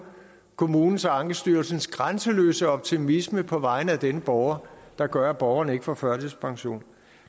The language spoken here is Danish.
kommunens og ankestyrelsens grænseløse optimisme på vegne af denne borger der gør at borgeren ikke får førtidspension